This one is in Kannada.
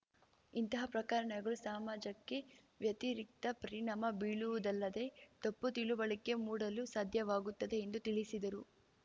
ಇಂತಹ ಪ್ರಕರಣಗಳು ಸಮಾಜಕ್ಕೆ ವ್ಯತಿರಿಕ್ತ ಪರಿಣಾಮ ಬೀಳುವುದಲ್ಲದೆ ತಪ್ಪು ತಿಳುವಳಿಕೆ ಮೂಡಲು ಸಾಧ್ಯವಾಗುತ್ತದೆ ಎಂದು ತಿಳಿಸಿದರು